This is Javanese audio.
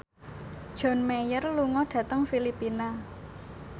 John Mayer lunga dhateng Filipina